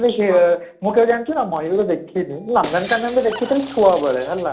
ଦେଖିବ ମୁଁ କେବେ ଜାଣିଛୁ ନା ମୟୁର ଦେଖିନି ହେଲା ନନ୍ଦନକାନନରେ ଦେଖିଥିଲି ଛୁଆ ବେଳେ ହେଲା